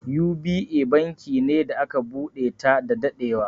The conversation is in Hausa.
U.B.A banki ne da aka buɗe ta da daɗewa.